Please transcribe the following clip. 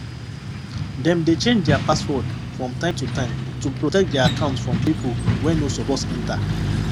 dem dey change their password from time to time to protect their account from people wey no suppose enter